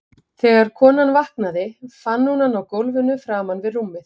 Þegar konan vaknaði fann hún hann á gólfinu framan við rúmið.